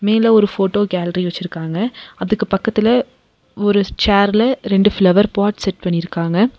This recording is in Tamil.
மேல ஒரு போட்டோ கேலரி வெச்சிருக்காங்க அதுக்கு பக்கத்துல ஒரு சேர்ல ரெண்டு ஃப்ளவர் பாட் செட் பண்ணிருக்காங்க.